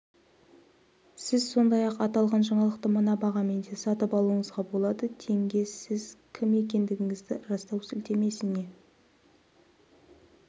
сіз сондай-ақ аталған жаңалықты мына бағамен де сатып алуыңызға болады тенге сіз кім екендігіңізді растау сілтемесіне